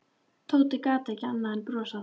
Tóti gat ekki annað en brosað.